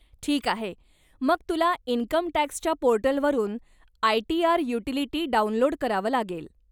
ठीक आहे, मग तुला इन्कमटॅक्सच्या पोर्टलवरून आय.टी.आर. युटीलिटी डाउनलोड करावं लागेल.